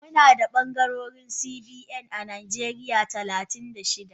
Munada bangarori CBN a najeriya talatin da shida.